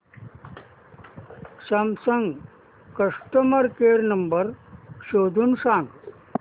Samsung customer care number शोधून सांग